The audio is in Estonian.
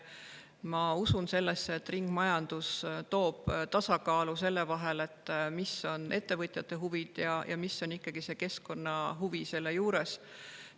Ma usun, et ringmajandus loob tasakaalu ettevõtjate huvide ja selle vahel, mis on ikkagi keskkonnahuvi selle juures.